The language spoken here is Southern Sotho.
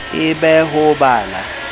e be ho ba la